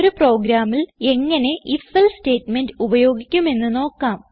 ഒരു പ്രോഗ്രാമിൽ എങ്ങനെ Ifelse സ്റ്റേറ്റ്മെന്റ് ഉപയോഗിക്കുമെന്ന് നോക്കാം